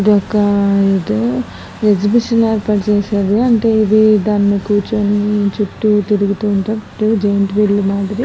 ఇది ఒక ఇది ఎక్సహిబిషన్ లా ఏర్పాటు చేసారు. అంటే ఇది దాని పైన కూర్చుని చుట్టు తిరుగుతూ ఉంటా కరెంట్ గా జాయింట్ విల్ మాదిరి --